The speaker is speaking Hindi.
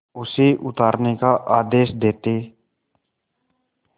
उसे उतारने का आदेश देते